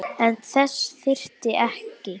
En þess þyrfti ekki.